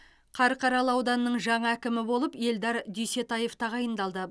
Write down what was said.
қарқаралы ауданының жаңа әкімі болып эльдар дүйсетаев тағайындалды